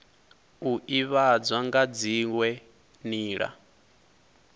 u ivhadzwa nga dziwe nila